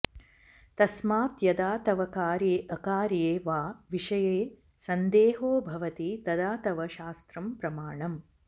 तस्मात् यदा तव कार्ये अकार्ये वा विषये सन्देहो भवति तदा तव शास्त्रं प्रमाणम्